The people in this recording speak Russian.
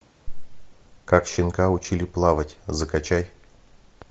как щенка учили плавать закачай